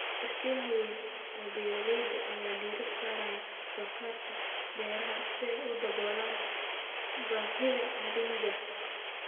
Shirkadaha waaweyn ee beeralayda ayaa diiradda saaraya wax-soo-saarka beeraha si ay u daboolaan baahida caalamiga ah.